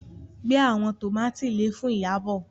gbé àwọn tomati lẹẹ Fún Iyabo.